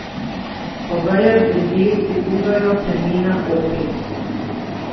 Po vejah dreves se gugajo plemena opic.